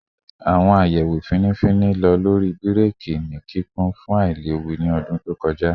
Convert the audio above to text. Awon ayewo fini fini lo lori bireki ni kikun fun ailewu ni ọdun to kọja